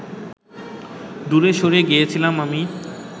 দূরে সরে গেছিলাম আমি